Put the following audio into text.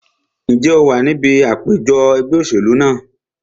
Ǹjẹ́ o wà ní ibi àpèjọ ẹgbẹ́ òṣèlú náà?